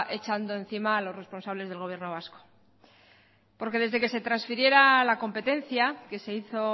echando encima a los responsables del gobierno vasco desde que se transfiriera la competencia que se hizo